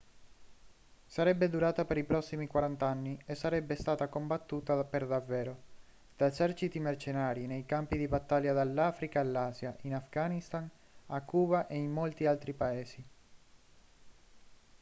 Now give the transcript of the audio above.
sarebbe durata per i prossimi 40 anni e sarebbe stata combattuta per davvero da eserciti mercenari nei campi di battaglia dall'africa all'asia in afghanistan a cuba e in molti altri paesi